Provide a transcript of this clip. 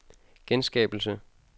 genskabelse